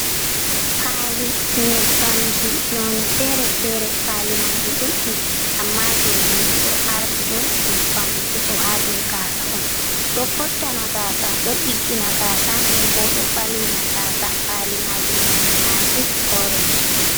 Pali nyebbamji nonne fere-fere. Pali man di duddi, amma jodidi do ardi do nyebbam wujugo ha dau gasa on. Ɗo fottana gasa, do ɗiggina gasa, den bo ɗo balwina gasa. Pali majum nonne maji oreng.